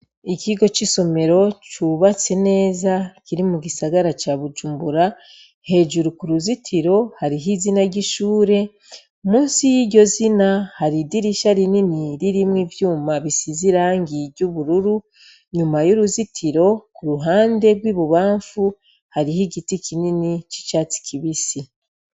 Ikigo c'isomero cubatse neza kiri mu gisagara ca bujumbura hejuru ku ruzitiro hariho izina ry'ishure musi y'iryo zina hari idirisha rinini ririmwo ivyuma bisize irangiye iryo ubururu nyuma y'uruzitiro ku ruhande rw'i bubamfu hariho igiti ka nyeni c'icatsi kibisi.